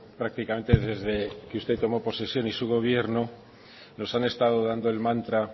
prácticamente desde que usted tomó posesión y su gobierno nos han estado dando el mantra